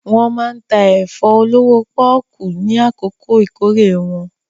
Wọ́n máa ń ta ẹ̀fọ́ olówó pọ́ọ́kú ní àkókò ìkórè wọn.